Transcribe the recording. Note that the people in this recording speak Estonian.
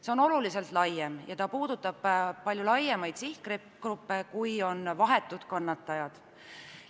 See on oluliselt laiem ja puudutab palju suuremaid sihtgruppe, kui on vahetud kannatajad.